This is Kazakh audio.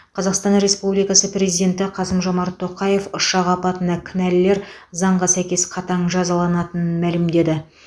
қазақстан республикасы президенті қасым жомарт тоқаев ұшақ апатына кінәлілер заңға сәйкес қатаң жазаланатынын мәлімдеді